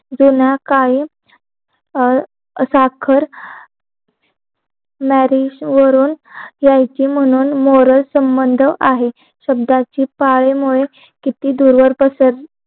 बिना काही साखर यायची म्हणून मोर संबंध आहेत शब्दाची पाळीमुले किती दुर्वर्त